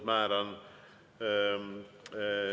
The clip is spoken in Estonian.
Määran …